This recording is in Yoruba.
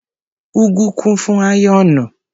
.Ugwu kún fún áyọ́nù.